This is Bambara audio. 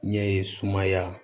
Ɲɛ ye sumaya